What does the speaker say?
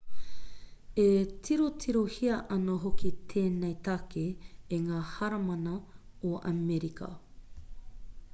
e tirotirohia ana hoki tēnei take e ngā heramana o amerika